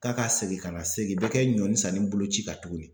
Taa ka segin ka na se nin bɛɛ bi kɛ ɲɔnni sanni boloci kan tuguni.